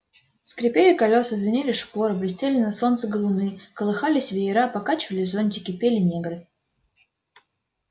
скрипели колёса звенели шпоры блестели на солнце галуны колыхались веера покачивались зонтики пели негры